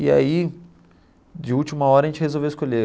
E aí, de última hora, a gente resolveu escolher.